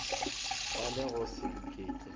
ba le go se iketle